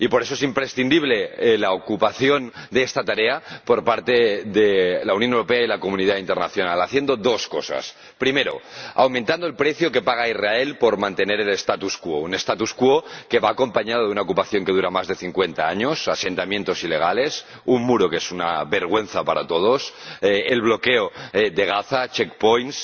Y, por eso, es imprescindible que se ocupen de esta tarea la Unión Europea y la comunidad internacional, haciendo dos cosas primero, aumentando el precio que paga Israel por mantener el statu quo un statu quo que va acompañado de una ocupación que dura más de cincuenta años, asentamientos ilegales, un muro que es una vergüenza para todos, el bloqueo de Gaza, check points